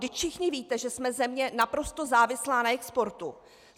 Vždyť všichni víte, že jsme země naprosto závislá na exportu.